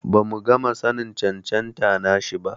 Bamu gama sanin cancanta nashi ba.